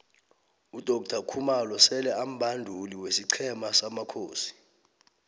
udoctor khumalo sele ambanduli wesiqhema samakhosi